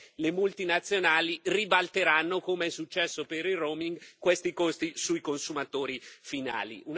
perché le multinazionali ribalteranno, come è successo per il roaming questi costi sui consumatori finali.